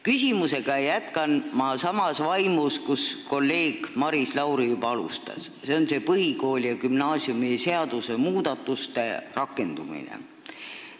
Küsimusega jätkan ma samas vaimus, nagu kolleeg Maris Lauri juba alustas, nimelt põhikooli- ja gümnaasiumiseaduse muudatuste rakendumine.